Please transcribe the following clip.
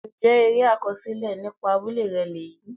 Ǹjẹ́ eré àkọsílẹ̀ nípa abúlé rẹ lèyí?